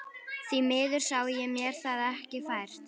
Því miður sá ég mér það ekki fært.